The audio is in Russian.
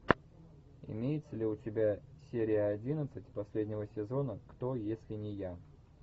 имеется ли у тебя серия одиннадцать последнего сезона кто если не я